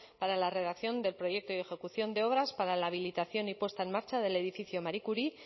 para la redacción del proyecto y ejecución de obras para la habilitación y puesta en marcha del edificio marie curie